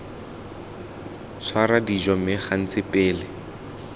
tshwara dijo mme gantsi pele